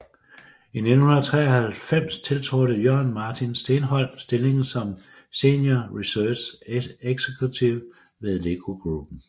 I 1993 tiltrådte Jørn Martin Steenhold stillingen som Senior Research Executive ved LEGO Gruppen